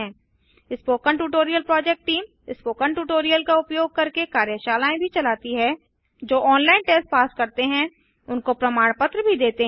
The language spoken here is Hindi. spoken tutorial project team spoken tutorial का उपयोग करके कार्यशालाएँ भी चलाती है जो ऑनलाइन टेस्ट पास करते हैं उनको प्रमाण पत्र भी देते हैं